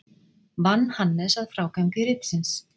Vann Hannes að frágangi ritsins.